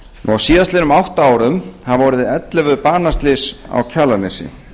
á síðastliðnum átta árum hafa orðið ellefu banaslys á kjalarnesi